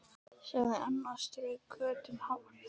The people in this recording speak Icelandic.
sagði Anna og strauk Kötu um hárið.